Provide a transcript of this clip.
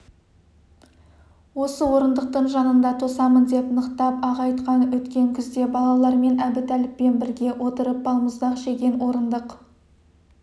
осы орындықтың жанында тосамын деп нықтап-ақ айтқан өткен күзде балалармен әбутәліппен бірге отырып балмұздақ жеген орындық